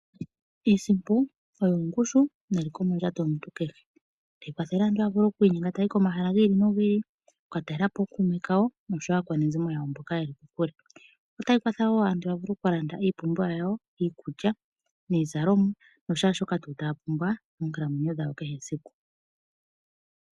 Iisimpo oyo ongushu neliko mondjato yomuntu kehe . Otayi kwathele aantu yavule oku inyenga okuya komahala gi ili ,oku katalelapo ookuume kawo oshowo aakwanezimo yawo mboka yeli kokule . Otayi kwatha woo aantu yavule oku kalanda iipumbiwa yawo, iikulya, iizalomwa nakehe tuu shoka taya pumbwa moonkalamwenyo dhawo dha kehe esiku.